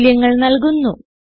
മൂല്യങ്ങൾ നല്കുന്നു